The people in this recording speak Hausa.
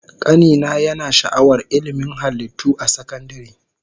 Kani na yana sha'awar ilmin halittu a sakandare